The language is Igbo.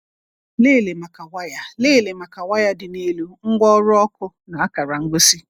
Lelee maka waya Lelee maka waya dị n’elu, ngwaọrụ ọkụ, na akara ngosi!